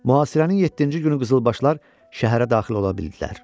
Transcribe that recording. Mühasirənin yeddinci günü qızılbaşlar şəhərə daxil ola bildilər.